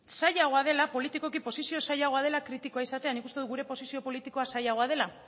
zailagoa dela politikoki posizio zailagoa dela kritikoa izatea nik uste dut gure posizio politikoa zailagoa dela